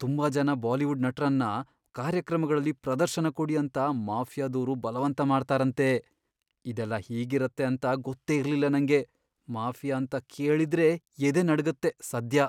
ತುಂಬಾ ಜನ ಬಾಲಿವುಡ್ ನಟರನ್ನ ಕಾರ್ಯಕ್ರಮಗಳಲ್ಲಿ ಪ್ರದರ್ಶನ ಕೊಡಿ ಅಂತ ಮಾಫಿಯಾದೋರು ಬಲವಂತ ಮಾಡ್ತಾರಂತೆ.. ಇದೆಲ್ಲ ಹೀಗಿರತ್ತೆ ಅಂತ ಗೊತ್ತೇ ಇರ್ಲಿಲ್ಲ ನಂಗೆ.. ಮಾಫಿಯಾ ಅಂತ ಕೇಳಿದ್ರೇ ಎದೆ ನಡ್ಗತ್ತೆ ಸದ್ಯ..